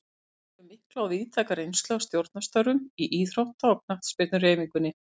Björn hefur mikla og víðtæka reynslu af stjórnarstörfum í íþrótta- og knattspyrnuhreyfingunni.